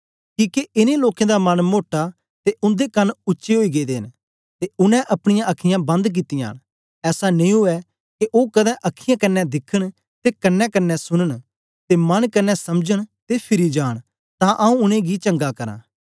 किके इनें लोकें दा मन मोटा ते उन्दे कन उच्चे ओई गेदे न ते उनै अपनीयां अखीयाँ बंद कित्तियां न ऐसा नेई उवै के ओ कदें अखीयाँ कन्ने दिखन ते कन्नेकन्ने सुनन ते मन कन्ने समझन ते फिरि जांन तां आंऊँ उनेंगी चंगा करां